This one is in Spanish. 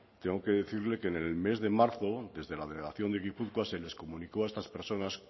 tengo que decirle que en el mes de marzo desde la delegación de gipuzkoa se le comunicó a estas personas